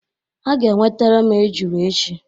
Ha ga-enwetara m ejula echi